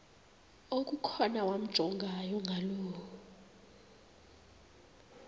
okukhona wamjongay ngaloo